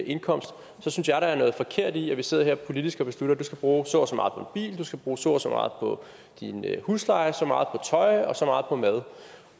indkomst synes jeg der er noget forkert i at vi sidder her politisk og beslutter du skal bruge så og så meget på en bil du skal bruge så og så meget på din husleje så meget på tøj og så meget på mad